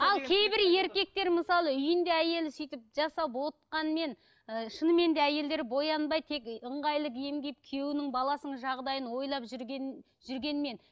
ал кейбір еркектер мысалы үйінде әйелін сөйтіп жасап отқанмен ыыы шынымен де әйелдері боянбай тек ыңғайлы киім киіп күйеуінің баласының жағдайын ойлап жүрген жүргенмен